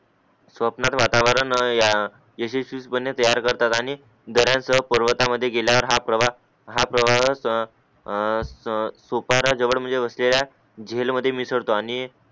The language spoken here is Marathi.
स्वप्नत्ब वातावातावरण ययशस्वी पने तयार करतात आणि घरात पर्वतामध्ये गेल्यावर हा प्रवाहा प्रवाह त त त सतुफाना जवळ बसलेल्या जिल मध्ये मिसळतो आणि